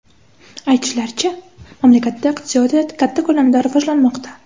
Aytishlaricha, mamlakatda iqtisodiyot katta ko‘lamda rivojlanmoqda?